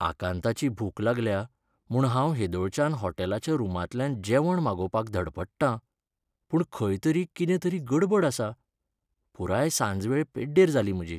आकांताची भूक लागल्या म्हूण हांव हेदोळच्यान होटॅलाच्या रुमांतल्यान जेवण मागोवपाक धडपडटां, पूण खंय तरी कितें तरी गडबड आसा, पुराय सांजवेळ पेड्डेर जाली म्हजी.